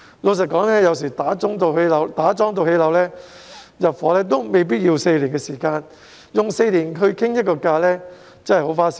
老實說，有時候由打樁至樓宇落成入伙也未必需要4年，所以花4年時間磋商價錢真的很花時間。